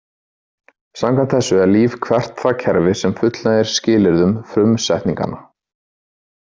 Samkvæmt þessu er líf hvert það kerfi sem fullnægir skilyrðum frumsetninganna.